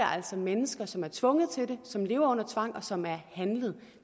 altså mennesker som er blevet tvunget til det som lever her under tvang og som er handlet